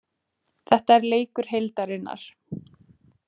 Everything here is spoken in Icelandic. Þetta er leikur heildarinnar.